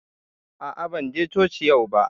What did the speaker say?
A'a, ban je coci yau ba